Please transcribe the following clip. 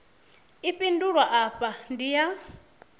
i fhindulwa afha ndi ya